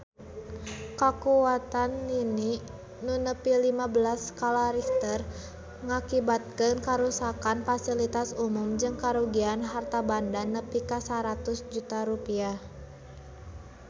Kakuatan lini nu nepi lima belas skala Richter ngakibatkeun karuksakan pasilitas umum jeung karugian harta banda nepi ka 100 juta rupiah